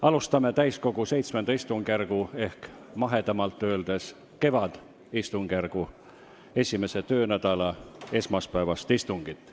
Alustame täiskogu VII istungjärgu ehk mahedamalt öeldes kevadistungjärgu esimese töönädala esmaspäevast istungit.